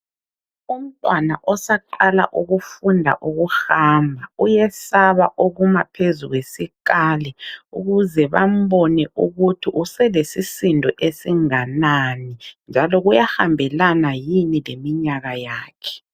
Umntwana osaqala ukufunda ukuhamba ,uyesaba ukuma phezu kwesikali .Ukuze bambone ukuthi uselesisindo esinganani ,njalo kuyahambelana yini leminyaka yakhe.